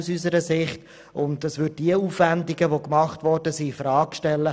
Er würde die bereits getätigten Aufwendungen infrage stellen.